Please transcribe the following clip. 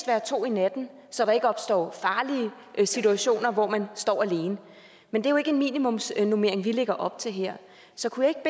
være to om natten så der ikke opstår farlige situationer hvor man står alene men det er jo ikke en minimumsnormering vi lægger op til her så kunne